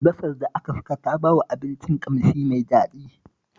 Albasar da aka saka ta bawa abincin ƙamshi mai daɗi